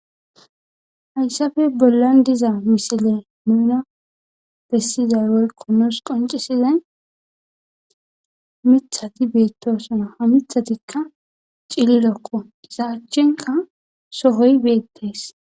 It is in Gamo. hayssafe bollan diza misile nuna bessizay worko noos qoncisizay mithati beettosona ha mithatikka cililokko izaachenka sohoy beettees